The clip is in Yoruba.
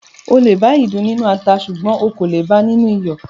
O lè bá ìdin nínú ata ṣùgbọ́n o kò le bá a nínú iyọ̀